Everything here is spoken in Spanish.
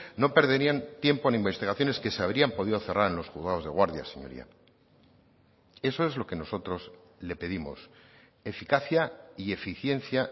no perderían tiempo en investigaciones que se habrían podido cerrar en los juzgados de guardia señoría eso es lo que nosotros le pedimos eficacia y eficiencia